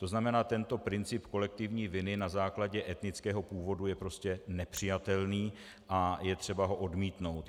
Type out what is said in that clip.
To znamená, tento princip kolektivní viny na základě etnického původu je prostě nepřijatelný a je třeba ho odmítnout.